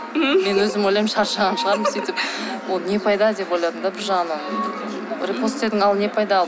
мен өзім ойлаймын шаршаған шығармын сөйтіп ол не пайда деп ойладым да бір жағынан репост істедің ал не пайда ал